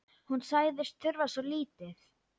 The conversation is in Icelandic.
Hún sagðist þurfa svo lítið.